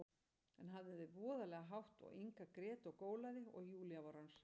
En hann hafði voðalega hátt og Inga grét og gólaði, og Júlía var orðin hrædd.